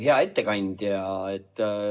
Hea ettekandja!